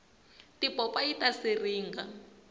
tipopayi ta siringa